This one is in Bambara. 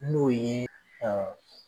N'o ye ƐƐ